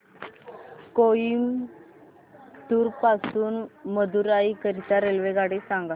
कोइंबतूर पासून मदुराई करीता रेल्वेगाडी सांगा